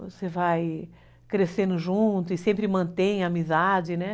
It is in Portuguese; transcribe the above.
Você vai crescendo junto e sempre mantém a amizade, né.